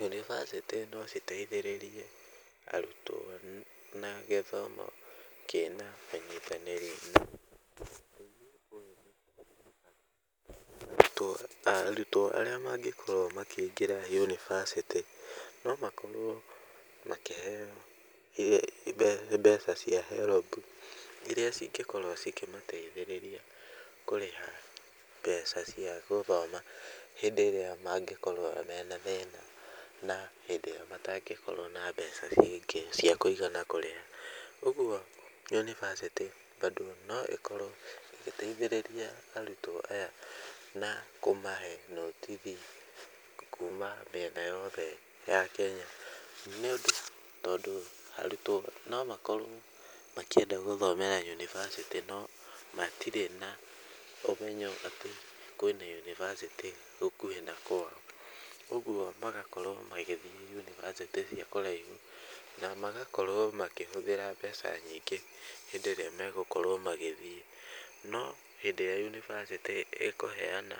Yunibacĩtĩ nociteithĩrĩrie arutwo na gĩthomo kĩna ũnyitanĩrĩri arutwo arutwo arĩa mangĩkorwo makĩingĩra yunibacĩtĩ no makorwo makĩheo mbeca cia HELB u, iria cingĩkorwo cikĩmateithĩrĩria kũrĩha mbeca cia gũthoma hĩndĩ ĩrĩa mangĩkorwo mena thĩna na hĩndĩ ĩyo matangĩkorwo na mbeca cia kũigana kũrĩha, ũguo yunibacĩtĩ bado no ĩkorwo ĩgĩteithĩrĩria arutwo aya na kũmahe notithi kuma mĩena yothe ya Kenya nĩũndũ tondũ arutwo nomakorwo makĩenda gũthomera yunibacĩtĩ no matirĩ na ũmenyo atĩ kwĩna yunibasĩtĩ gũkuhĩ na kwao, ũguo magakorwo magĩthiĩ yunibacĩtĩ cia kũraihu na magakorwo makĩhũthĩra mbeca nyingĩ hĩndĩ ĩrĩa megũkorwo magĩthiĩ, no hĩndĩ ĩrĩa yunibacĩtĩ ĩkũheana